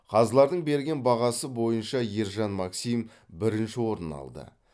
қазылардың берген бағасы бойынша ержан максим бірінші орын алды